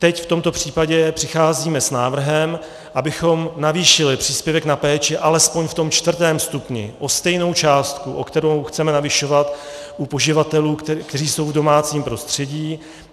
Teď v tomto případě přicházíme s návrhem, abychom navýšili příspěvek na péči alespoň v tom čtvrtém stupni o stejnou částku, o kterou chceme navyšovat u poživatelů, kteří jsou v domácím prostředí.